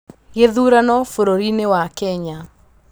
Gĩthurano bũrũrinĩ wa Kenya.